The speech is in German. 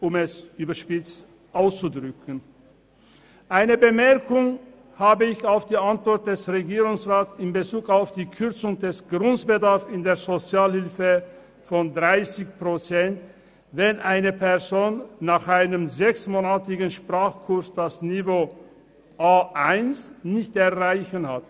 Ich habe noch eine Bemerkung zur Antwort des Regierungsrats in Bezug auf die Kürzung des grossen Bedarfs in der Sozialhilfe von 30 Prozent, wenn eine Person nach einem sechsmonatigen Sprachkurs das Niveau A1 nicht erreicht: